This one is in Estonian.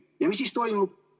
Ja mis siis toimub?